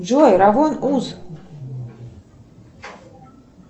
джой равой уз